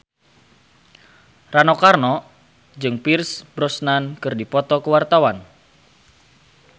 Rano Karno jeung Pierce Brosnan keur dipoto ku wartawan